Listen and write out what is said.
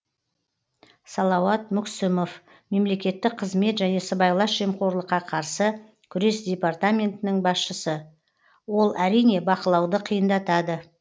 салауат мүксімов мемлекеттік қызмет және сыбайлас жемқорлыққа қарсы күрес департаментінің басшысы ол әрине бақылауды қиындатады